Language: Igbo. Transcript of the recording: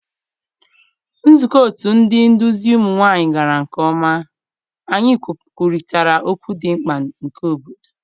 Nzukọ otu ndị nduzi ụmụ nwanyị gara nke ọma. Anyị kwurịtara okwu dị mkpa nke obodo.